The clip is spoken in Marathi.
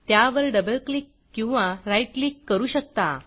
त्यावर डबल क्लिक किंवा राईट क्लिक करू शकता